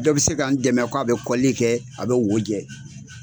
Dɔ bɛ se ka n dɛmɛ k'a bɛ kɔlili kɛ a bɛ wo jɛ.